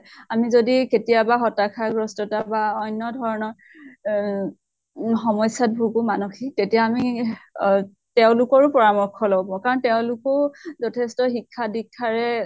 আমি যদি কেতিয়াবা হতাশা গ্ৰস্থতা বা অন্য় ধৰণৰ অহ উম সমস্য়াত ভোগো, মানসিক তেতিয়া আমি আহ তেওঁলোকৰো পৰামৰ্শ লব। কাৰণ তেওঁলোকো যথেষ্ট শিক্ষা দিক্ষাৰে